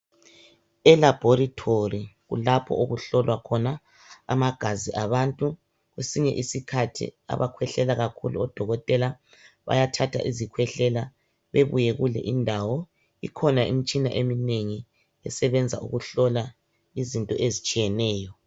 Elaboratory kulapho okuhlolwa khona amagazi abantu kwesinye isikhathi abakhwehlela kakhulu odokotela bayathatha izikhwehlela bebuye kule indawo kukhona eminye imitshina eminengi esebenza ukuhlola izinto ezitshiyeneyo